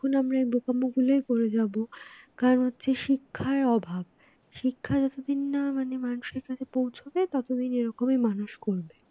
ততক্ষণ আমরা এই বোকামি গুলোই করে যাব কারণ হচ্ছে শিক্ষার অভাব শিক্ষা যতদিন না মানুষের কাছে পৌঁছবে ততদিন এরকমই মানুষ করবে।